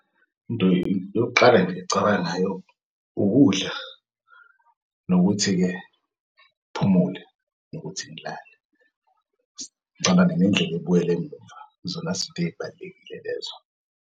Into yokuqala nje engicabanga ngayo ukudla nokuthi-ke ngiphumule nokuthi ngilale. Ngicabange nendlel'ebuyele emuva, yizona zinto ey'balulekile lezo.